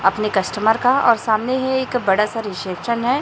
अपने कस्टमर का और सामने है एक बड़ा सा रिसेप्शन है।